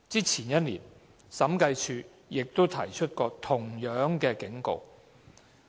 前年，審計署亦提出過同樣的警告。